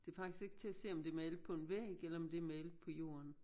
Det faktisk ikke til at se om det er malet på en væg eller om det er malet på jorden